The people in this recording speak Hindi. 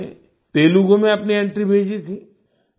उन्होंने तेलुगु में अपनी एंट्री भेजी थी